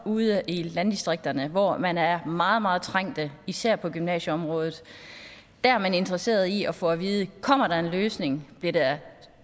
ude i landdistrikterne hvor man er meget meget trængte især på gymnasieområdet der er man interesseret i at få at vide kommer der en løsning bliver der